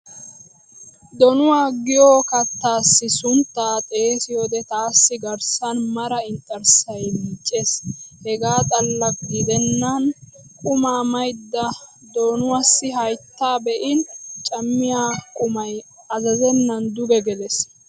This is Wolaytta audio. Donuwa giyo kattaassi sunttaa xeesiyoode taassi garssan mara inxxarssay miiccees. Hegaa xallakka gidennan qumaa maydda donuwaassi hayttaa be'in cammiyaa qumay azazennan duge gelees.